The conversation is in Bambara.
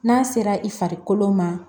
N'a sera i farikolo ma